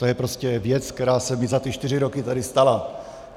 To je prostě věc, která se mi za ty čtyři roky tady stala.